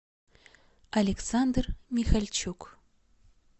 александр михальчук